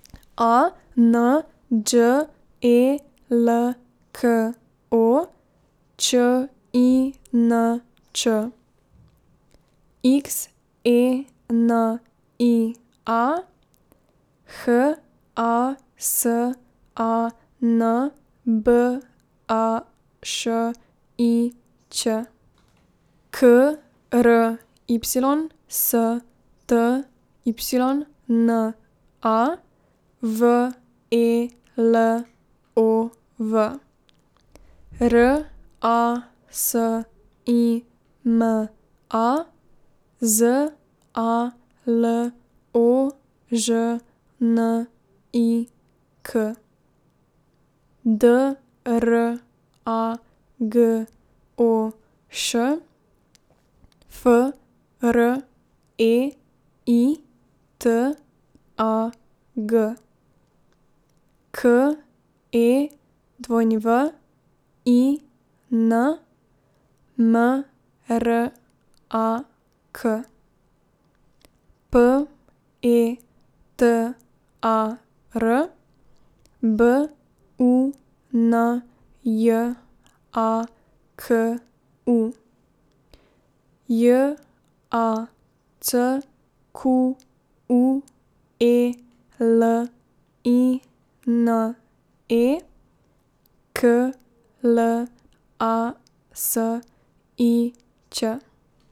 A N Đ E L K O, Č I N Č; X E N I A, H A S A N B A Š I Ć; K R Y S T Y N A, V E L O V; R A S I M A, Z A L O Ž N I K; D R A G O Š, F R E I T A G; K E W I N, M R A K; P E T A R, B U N J A K U; J A C Q U E L I N E, K L A S I Ć.